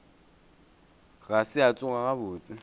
ga se a tsoga gabotse